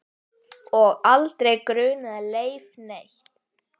Og aldrei grunaði Leif neitt.